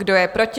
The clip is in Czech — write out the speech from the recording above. Kdo je proti?